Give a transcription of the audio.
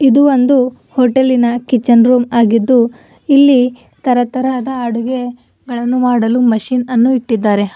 ಇದು ಒಂದು ಹೋಟೆಲ್ಲಿನ ಕಿಚನ್ ರೂಮ್ ಆಗಿದ್ದು ಇಲ್ಲಿ ತರತರಹದ ಅಡುಗೆ ಗಳನ್ನು ಮಾಡಲು ಮಷಿನ್ ಅನ್ನು ಇಟ್ಟಿದ್ದಾರೆ.